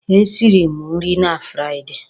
E siri mụ nri na Friday.